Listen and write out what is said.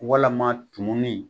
Walama tumuni